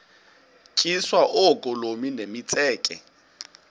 tyiswa oogolomi nemitseke